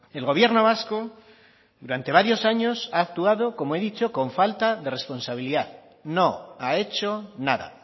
el gobierno vasco durante varios años ha actuado como he dicho con falta de responsabilidad no ha hecho nada